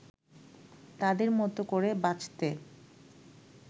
তাদের মতো করে বাঁচতে